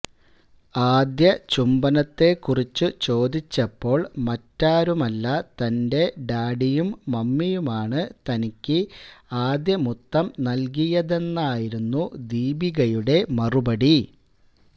ആദ്യ ചുംബനത്തെ കുറിച്ചു ചോദിച്ചപ്പോള് മറ്റാരുമല്ല തന്റെ ഡാഡിയും മമ്മിയുമാണ് തനിക്ക് ആദ്യ മുത്തം നല്കിയതെന്നായിരുന്നു ദീപികയുടെ മറുപടി